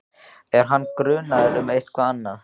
Er hann grunaður um eitthvað annað?